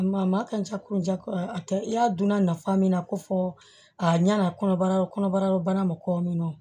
Maa maa ka ca kunja a tɛ i y'a dunna nafa min na ko fɔ a ɲana kɔnɔbara kɔnɔbara bana ma kɔ min